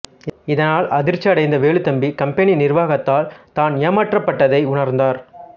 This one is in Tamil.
இதனால் அதிர்ச்சி அடைந்த வேலுத்தம்பி கம்பெனி நிர்வாகத்தால் தான் ஏமாற்றப்பட்டதை உணர்ந்தார்